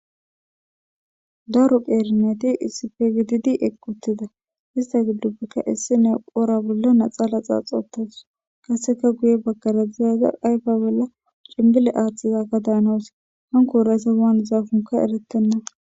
Daru qeerneti issife gididi equttida ista giddupbeka issi ne qora bolla naxala xaaxoottaws kaseka guye baggara ziyaza ayfa bolla cimbile aaththizaka daanows hankoora isa waan zaafunka erettenna.